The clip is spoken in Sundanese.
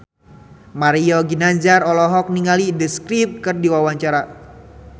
Mario Ginanjar olohok ningali The Script keur diwawancara